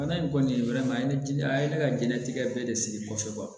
Bana in kɔni a ye ne diɲɛna a ye ne ka diɲɛlatigɛ bɛɛ de sigi kɔsɔbɛ